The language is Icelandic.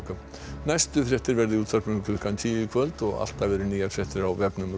næstu fréttir verða í útvarpinu klukkan tíu í kvöld og alltaf eru nýjar fréttir á vefnum